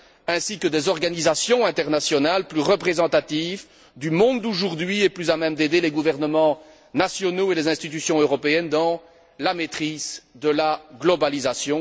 ainsi que des organisations internationales plus représentatives du monde d'aujourd'hui et plus à même d'aider les gouvernements nationaux et les institutions européennes dans la maîtrise de la globalisation.